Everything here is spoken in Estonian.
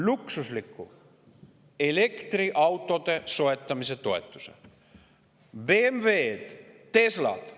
Luksuslike elektriautode soetamise toetamise.